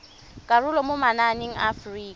karolo mo mananeng a aforika